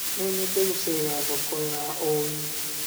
No nyende gũcerera thoko ya o wiki.